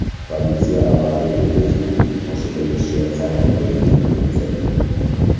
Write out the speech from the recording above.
Politsiya avariyaga tezlikning oshirilishi sabab bo‘lgan deb hisoblamoqda.